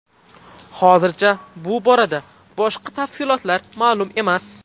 Hozircha bu borada boshqa tafsilotlar ma’lum emas.